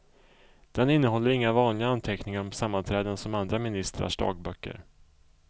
Den innehåller inga vanliga anteckningar om sammanträden som andra ministrars dagböcker.